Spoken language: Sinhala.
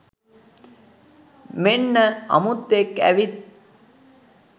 මෙන්න අමුත්තෙක් ඇවිත්